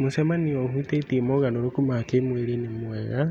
Mũcemanio ũhutĩtie mogarũrũku ma kĩĩmwĩrĩ-rĩ nĩmwega